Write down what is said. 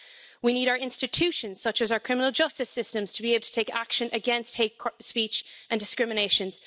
We need our institutions, such as our criminal justice systems to be able to take action against hate speech and discriminations.